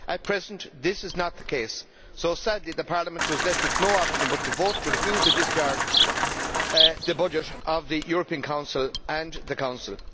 At present this is not the case, so sadly Parliament was left with no option but to vote to refuse the discharge of the budget of the European Council and the Council.